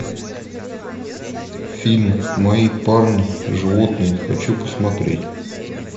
фильм мои парни животные хочу посмотреть